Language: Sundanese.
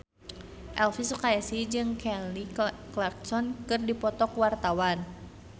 Elvy Sukaesih jeung Kelly Clarkson keur dipoto ku wartawan